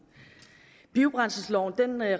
biobrændselsloven